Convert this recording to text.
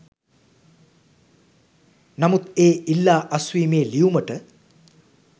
නමුත් ඒ ඉල්ලා අස්වීමේ ලියුමට